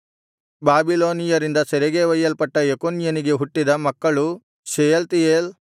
ಬಾಬಿಲೋನಿಯರಿಂದ ಸೆರೆಗೆ ಒಯ್ಯಲ್ಪಟ್ಟ ಯೆಕೊನ್ಯನಿಗೆ ಹುಟ್ಟಿದ ಮಕ್ಕಳು ಶೆಯಲ್ತೀಯೇಲ್